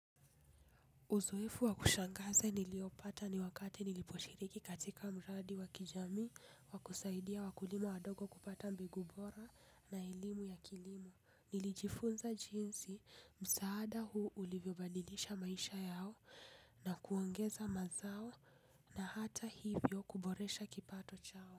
Uzoefu wakushangaza niliopata ni wakati niliposhiriki katika mradi wakijamii wakusaidia wakulima wadogo kupata mbegu bora na elimu ya kilimo. Nilijifunza jinsi msaada huu ulivyobadilisha maisha yao na kuongeza mazao na hata hivyo kuboresha kipato chao.